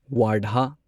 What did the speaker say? Wardha